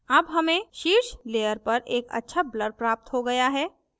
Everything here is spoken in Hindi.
अब हमें शीर्ष layer पर एक अच्छा blur प्राप्त हो गया है